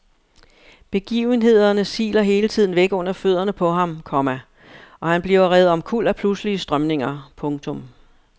Begivenhederne siler hele tiden væk under fødderne på ham, komma og han bliver revet omkuld af pludselige strømninger. punktum